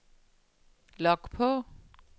log på